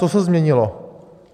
Co se změnilo?